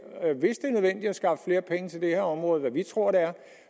her område hvad vi tror det er